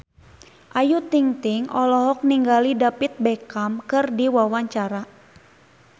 Ayu Ting-ting olohok ningali David Beckham keur diwawancara